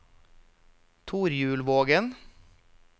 Torjulvågen